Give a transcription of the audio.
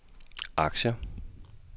aktier